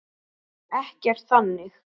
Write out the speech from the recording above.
Ekkert þannig.